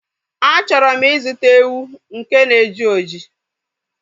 A chọrọ m ịzụta ewu nke na-eji oji